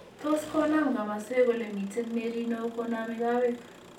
Tos konaam kamoswek ole miiten meriinook konaame kowek